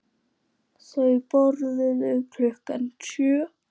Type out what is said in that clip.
Þau borðuðu klukkan sjö.